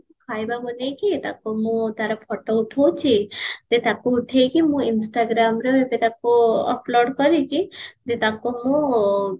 ଖାଇବା ବନେଇକି ତାକୁ ମୁଁ ତାର photo ଉଠଉଚି ଯେ ତାକୁ ଉଠେଇକି ମୁଁ instagrramre ଏବେ ତାକୁ upload କରିକି ଯେ ତାକୁ ମୁଁ